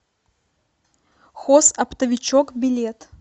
хозоптовичок билет